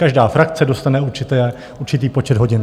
Každá frakce dostane určitý počet hodin.